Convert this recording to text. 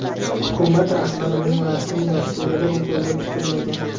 Hukumat rahbarining rasmiy dasturida bu ko‘zda tutilmagan.